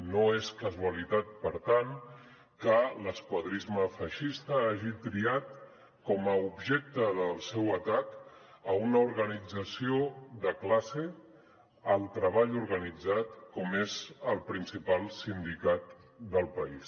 no és casualitat per tant que l’esquadrisme feixista hagi triat com a objecte del seu atac una organització de classe el treball organitzat com és el principal sindicat del país